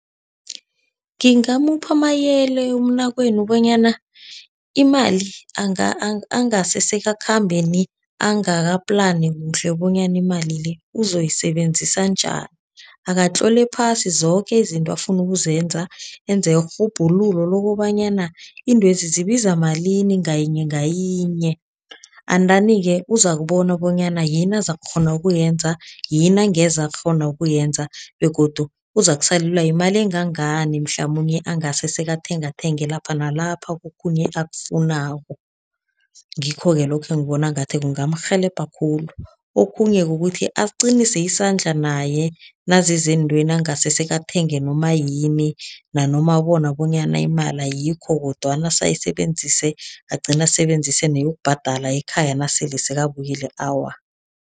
Ngingamupha amayele umnakwenu bonyana imali angase sekakhambe nie, angaka-plan kuhle bonyana imali le ozoyisebenzisa njani. Akatlole phasi zoke izinto afuna ukuzenza, enze irhubhululo lokobanyana iintwezi zibiza malini ngayinye ngayinye, and then-ke uzakubona bonyana yini azakukghona ukuyenza, yini angeze akghona ukuyenza, begodu uzokusalelwa yimali engangani mhlamunye angase sekathengathenge lapha nalapha kokhunye akufunako. Ngikho-ke lokho engibona ngathi kungarhelebha khulu. Okhunye kukuthi aqinise isandla naye naziza eentweni, angase sekathenga noma yini, nanoma abona bonyana imali ayikho, kodwana ase ayisebenzise, agcina asebenzise neyokubhadala ekhaya nasele sekabuyile, awa.